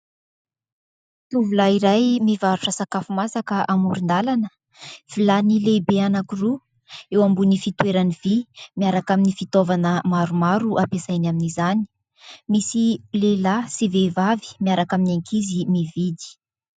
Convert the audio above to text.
Tovolahy iray mivarotra sakafo masaka amoron-dalana, vilany lehibe anankiroa eo ambony fitoerany vy miaraka amin'ny fitaovana maromaro ampiasainy amin'izany, misy lehilahy sy vehivavy miaraka amin'ny ankizy mividy.